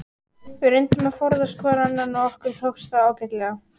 Við reyndum að forðast hvor annan og okkur tókst það ágætlega.